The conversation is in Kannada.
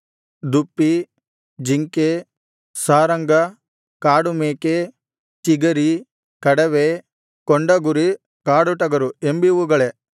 ದುಪ್ಪಿ ಜಿಂಕೆ ಸಾರಂಗ ಕಾಡುಮೇಕೆ ಚಿಗರಿ ಕಡವೆ ಕೊಂಡಗುರಿ ಕಾಡುಟಗರು ಎಂಬಿವುಗಳೇ